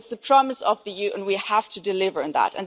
on. It is the promise of the EU and we have to deliver on